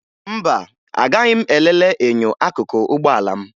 Mba, agaghị m elele enyo akụkụ ụgbọala m